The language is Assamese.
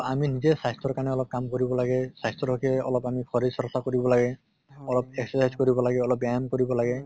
আমি নিজে স্বাস্থ্য়ৰ কাৰণে অলপ কাম কৰিব লাগে, স্বাস্থ্য়ৰ হʼকে অলপ আমি শৰীৰ চৰ্চা কৰিব লাগে, অলপ exercise কৰিব লাগে, অলপ ব্য়ায়াম কৰিব লাগে